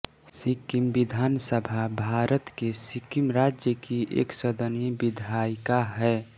सिक्किम विधान सभा भारत के सिक्किम राज्य की एकसदनीय विधायिका है